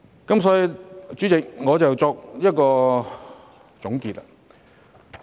因此，主席，讓我作一個總結。